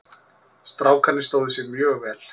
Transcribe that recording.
Strákarnir stóðu sig mjög vel.